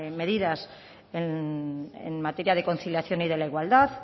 medidas en materia de conciliación y de la igualdad